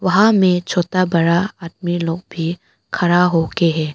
वहां में छोता बड़ा आदमी लोग भी खड़ा होके है।